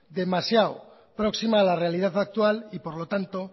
demasiado próxima a la realidad actual y por lo tanto